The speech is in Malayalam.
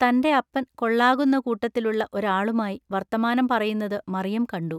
തന്റെഅപ്പൻ കൊള്ളാകുന്ന കൂട്ടത്തിലുള്ള ഒരാളുമായി വൎത്തമാനം പറയുന്നതു മറിയം കണ്ടു.